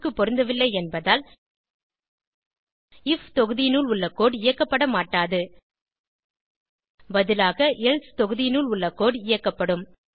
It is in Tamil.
5 க்கு பொருந்தவில்லை என்பதால் ஐஎஃப் தொகுதியினுள் உள்ள கோடு இயக்கப்பட மாட்டாது பதிலாக எல்சே தொகுதியினுள் உள்ள கோடு இயக்கப்படும்